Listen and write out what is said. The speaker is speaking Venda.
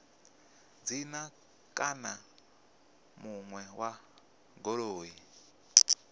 dzina kana muṋe wa goloi